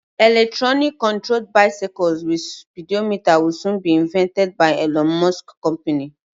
Electronic controlled bicycles with speedometer will soon be invested by Elon Musk company.